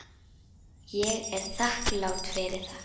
Ég er þakklát fyrir það.